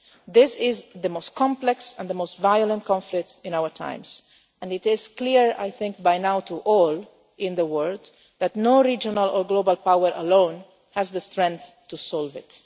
parties. This is the most complex and the most violent conflict in our times, and it is clear, I think, by now to all in the world that no regional or global power alone has the strength to solve